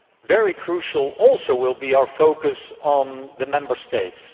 Very crucial also will be our focus on the Member States